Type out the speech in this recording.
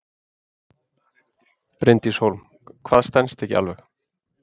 Bryndís Hólm: Hvað stenst ekki alveg?